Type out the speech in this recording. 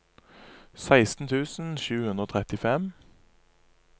seksten tusen sju hundre og trettifem